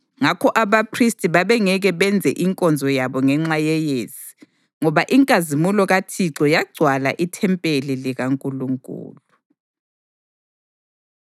ngakho abaphristi babengeke benze inkonzo yabo ngenxa yeyezi, ngoba inkazimulo kaThixo yagcwala ithempeli likaNkulunkulu.